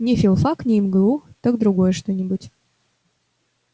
не филфак не мгу так другое что-нибудь